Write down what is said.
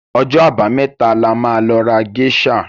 Ọjọ́ àbámẹ́ta la máa lọ ra géṣà.